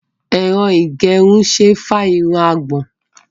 Ẹ̀rọ ìgẹrun ṣe é fá irun àgbọ̀n.